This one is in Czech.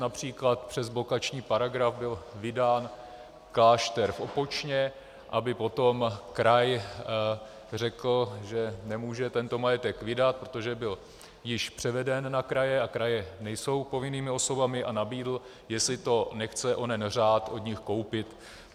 Například přes blokační paragraf byl vydán klášter v Opočně, aby potom kraj řekl, že nemůže tento majetek vydat, protože byl již převeden na kraje a kraje nejsou povinnými osobami, a nabídl, jestli to nechce onen řád od nich koupit.